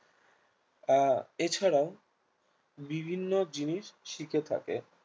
আহ এছাড়াও বিভিন্ন জিনিস শিখে থাকে